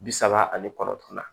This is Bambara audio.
Bi saba ani kɔnɔntɔn na